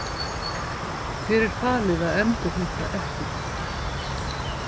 Þér er falið að endurheimta eplið.